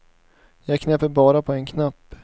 Jag knäpper bara på en knapp.